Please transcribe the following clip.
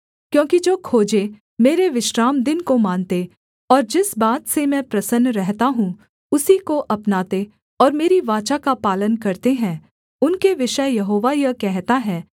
क्योंकि जो खोजे मेरे विश्रामदिन को मानते और जिस बात से मैं प्रसन्न रहता हूँ उसी को अपनाते और मेरी वाचा का पालन करते हैं उनके विषय यहोवा यह कहता है